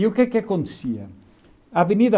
E o que acontecia? A avenida